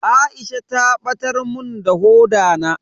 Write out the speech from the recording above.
Aisha ta batar mun da hoda na.